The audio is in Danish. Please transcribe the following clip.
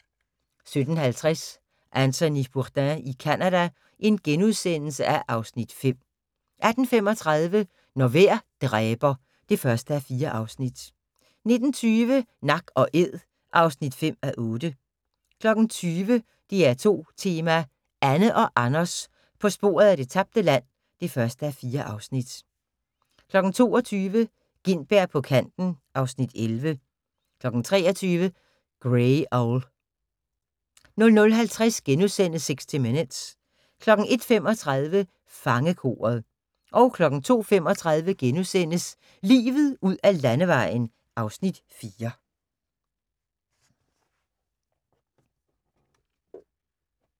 17:50: Anthony Bourdain i Canada (Afs. 5)* 18:35: Når vejr dræber (1:4) 19:20: Nak & æd (5:8) 20:00: DR2 Tema: Anne og Anders på sporet af det tabte land (1:4) 22:00: Gintberg på kanten (Afs. 11) 23:00: Grey Owl 00:50: 60 Minutes * 01:35: Fangekoret 02:35: Livet ud ad landevejen (Afs. 4)*